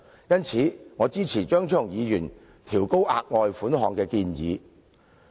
因此，我支持張超雄議員調高額外款項的建議。